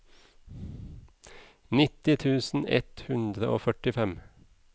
nitti tusen ett hundre og førtifem